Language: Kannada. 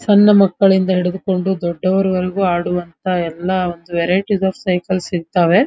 ಸನ್ನ ಮಕ್ಕಳಿಂದ ಹಿಡಿದುಕೊಂಡು ದೊಡ್ಡವರು ವರೆಗೂ ಆಡುವಂಥ ವೆರೈಟಿಸ್ ಆಫ್ ಸೈಕಲ್ಸ್ ಸಿಗ್ತಾವೆ --